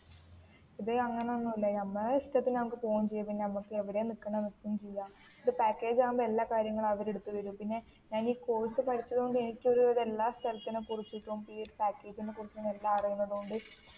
ഇതു അങ്ങനെ ഒന്നുമില്ല ഞമ്മളെ ഇഷ്ടത്തിനു നമ്മുക്ക് പോകുവേം ചെയ്യാം പിന്നേ എവിടെയാ നിക്കുനേ നിക്കുവേം ചെയ്യാം ഇത് പാക്കേജ് ആകുമ്പോൾ എല്ലാ കാര്യങ്ങളും അവർ എടുത്തു തരും പിന്നേ ഞാൻ ഈ കോഴ്സ് പഠിച്ചത് കൊണ്ട് എനിക്കു ഒരു വിധം എല്ലാ സ്ഥലത്തിനെ കുറിച്ചിട്ടും ഈ ഒരു പാക്കേജിനെ കുറിച്ചിട്ടും എല്ലാം അറിയുന്നത് കൊണ്ട്